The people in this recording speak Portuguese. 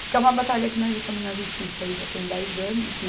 Porque é uma batalha que nós já estamos na justiça aí já tem dez anos, né?